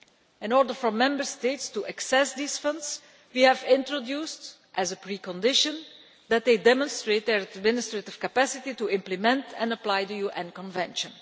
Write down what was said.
In order for Member States to access these funds, we have introduced as a pre condition that they demonstrate their administrative capacity to implement and apply the UN Convention.